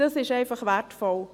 Dies ist einfach wertvoll.